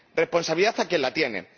Responsabilidad, a quien la tiene.